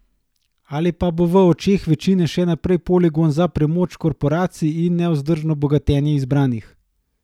Ali pa bo v očeh večine še naprej poligon za premoč korporacij in nevzdržno bogatenje izbranih?